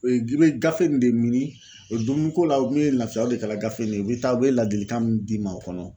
O ye g'i be gafe nin de mini o dumuni ko la o kun ye lafiya o de kɛla gafe nin ye. Bi taa u be ladilikan min d'i ma o kɔnɔ